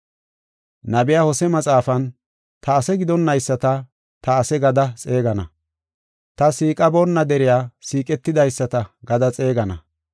Nabiya Hose maxaafan, “Ta ase gidonnayisata, ‘Ta ase’ gada xeegana. Ta siiqaboonna deriya, ‘Siiqetidaysata’ gada xeegana.